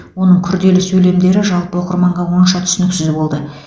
оның күрделі сөйлемдері жалпы оқырманға онша түсініксіз болды